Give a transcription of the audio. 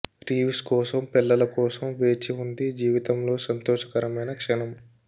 Reeves కోసం పిల్లల కోసం వేచి ఉంది జీవితంలో సంతోషకరమైన క్షణం